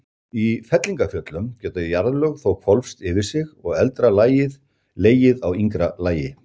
Í fellingafjöllum geta jarðlög þó hvolfst yfir sig og eldra lagið legið á yngra lagi.